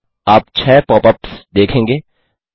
आप 6 pop ups देखेंगे